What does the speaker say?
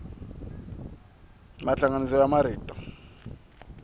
mahlanganiso ya marito